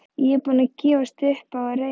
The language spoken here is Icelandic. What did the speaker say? Ég er búinn að gefast upp á að reyna